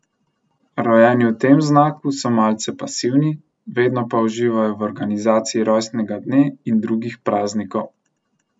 Rojeni v tem znaku so malce pasivni, vedno pa uživajo v organizaciji rojstnega dne in drugih praznikov.